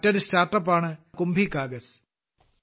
മറ്റൊരു സ്റ്റാർട്ടപ്പാണ് കുംഭികാഗസ്